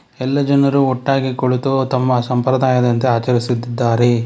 ಎಲ್ಲ ಜನರು ಒಟ್ಟಾಗಿ ಕುಳಿತು ತಮ್ಮ ಸಂಪ್ರದಾಯದಂತೆ ಆಚರಿಸುತ್ತಿದ್ದಾರೆ.